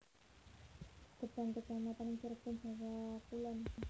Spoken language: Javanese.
Gebang kecamatan ing Cirebon Jawa Kulon